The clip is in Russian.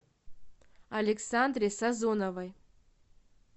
александре сазоновой